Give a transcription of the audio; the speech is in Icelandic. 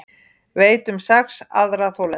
Veit um sex aðra þolendur